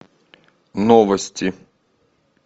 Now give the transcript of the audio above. новости